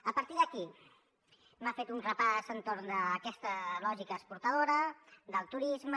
a partir d’aquí m’ha fet un repàs entorn d’aquesta lògica exportadora del turisme